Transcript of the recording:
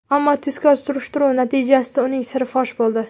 Ammo tezkor surishtiruv natijasida uning siri fosh bo‘ldi.